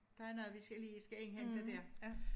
Der er noget vi skal lige skal indhente dér